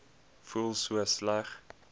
voel so sleg